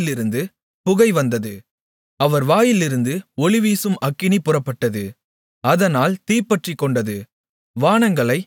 அவர் நாசியிலிருந்து புகை வந்தது அவர் வாயிலிருந்து ஒளிவீசும் அக்கினி புறப்பட்டது அதனால் தீப்பற்றிக்கொண்டது